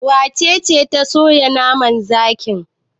Wace ce ta soya naman zakin?